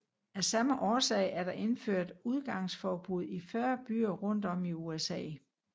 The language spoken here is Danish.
Af samme årsager er der indført udgangsforbud i 40 byer rundt om i USA